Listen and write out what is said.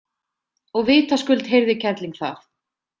Og vitaskuld heyrði kerling það.